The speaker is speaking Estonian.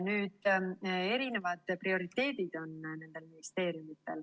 Nendel ministeeriumitel on erinevad prioriteedid.